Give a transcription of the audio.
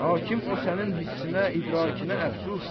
Hakim o sənin hissinə, idrakinə əfsus.